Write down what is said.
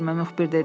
müxbir dedi.